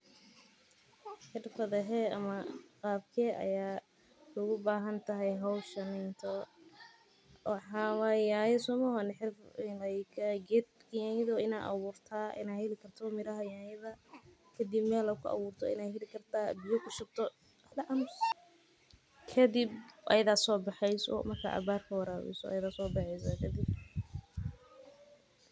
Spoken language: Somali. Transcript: Xirfadee ama qalabkee ugu bahan tahay howshan waa inaad heshaa nyanya kadib ayada ayaa soo baxaysa.